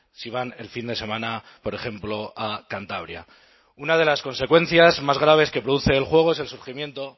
si van el fin de semana por ejemplo a cantabria una de las consecuencias más graves que produce el juego es el surgimiento